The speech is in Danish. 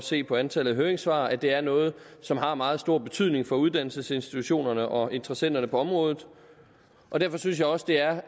se på antallet af høringssvar at det er noget som har meget stor betydning for uddannelsesinstitutionerne og interessenterne på området derfor synes jeg også det er